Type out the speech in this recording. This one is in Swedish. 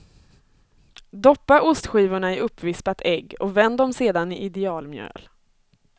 Doppa ostskivorna i uppvispat ägg och vänd dem sedan i idealmjöl.